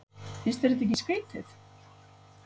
Finnst þér þetta ekki skrítið?